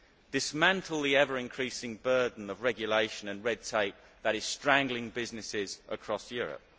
dismantle the ever increasing burden of regulation and red tape that is strangling businesses across Europe